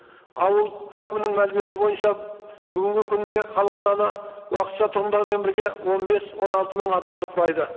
ауыл әкімінің мәліметі бойынша бүгінгі күнге халық саны уақытша тұрғындармен бірге он бес он алты мың адамды құрайды